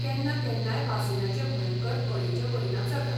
केन्ना केन्नाय वासिनाचें भयंकर अडेचे परिणाम जातात.